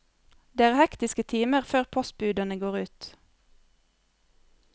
Det er hektiske timer før postbudene går ut.